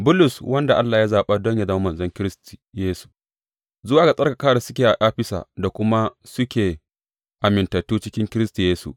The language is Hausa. Bulus, wanda Allah ya zaɓa don yă zama manzon Kiristi Yesu, Zuwa ga tsarkaka da suke a Afisa, da kuma suke amintattu cikin Kiristi Yesu.